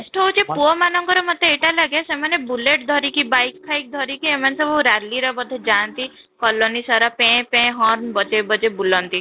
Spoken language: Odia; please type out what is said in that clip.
best ହଉଛି ପୁଅ ମାନଙ୍କର ମୋତେ ଏଇଟା ଲାଗେ ସେମାନେ bullet ଧରିକି bike ଧରିକି ଏମାନେ ସବୁ ରାଲିର ବୋଧେ ଯାଆନ୍ତି କଲୋନୀ ସାରା ପେଁ ପେଁ ବଜେଇ ବଜେଇ ବୁଲନ୍ତି